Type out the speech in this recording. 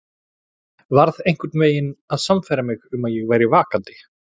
Varð einhvern veginn að sannfæra mig um að ég væri vakandi.